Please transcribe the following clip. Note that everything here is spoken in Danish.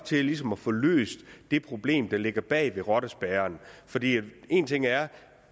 til ligesom at få løst det problem der ligger bag rottespærren en ting er at